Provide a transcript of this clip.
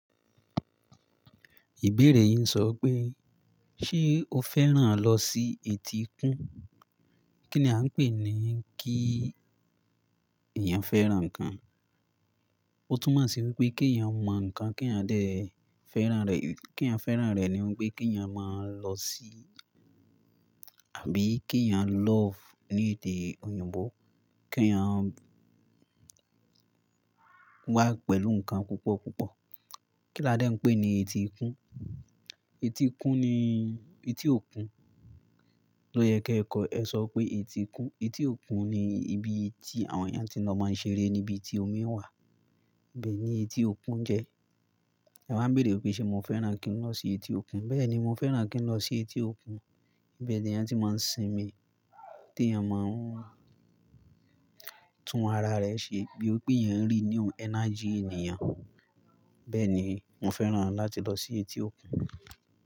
Ìbéèrè yín sọ pé, ṣe o fẹ́ràn lọ sí etí ikún? Kí ni a ń pè ní kí èèyàn fẹ́ràn ǹkan? Ó tún máa ṣe wípé kí èèyàn mọ ǹkan, kí èèyàn dẹ̀ fẹ́ràn rẹ̀. Kí èèyàn fẹ́ràn rẹ̀ ni wípé kí èèyàn máa lọ sí àbí kí èèyàn love ní èdè òyìnbó. Kí èèyàn wà pẹ̀lú ǹkan púpọ̀ púpọ̀. Kí ládẹ́ ń pè ní etí ikún? Etí ikún ni etí òkun. Lóò yẹ kí ẹ kọ. Ẹ sọ pé etí ikún. Etí òkun ni ibi tí àwọn èèyàn ti lọ máa ń ṣeré, níbi tí omi wà. Bẹ́ẹ̀ ni etí òkun jẹ́. Ẹ wa ń béèrè pé ṣe mo fẹ́ràn kí n lọ sí etí òkun? Bẹ́ẹ̀ ni, mo fẹ́ràn kí n lọ sí etí òkun. Ibẹ̀ ni èèyàn ti máa ń sinmi, tí èèyàn máa ń tún ara rẹ̀ ṣe bí ó pé yẹn ń rí new energy ènìyàn. Bẹ́ẹ̀ ni, mo fẹ́ràn láti lọ sí etí òkun.